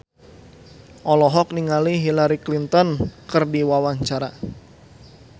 Rieke Diah Pitaloka olohok ningali Hillary Clinton keur diwawancara